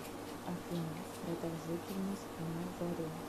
афина продолжительность на заре